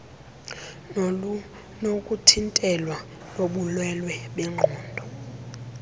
nolunokuthintelwa lobulwelwe ngenqondo